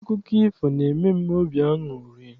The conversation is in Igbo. Akụkọ ifo n'eme m obi aṅụrị.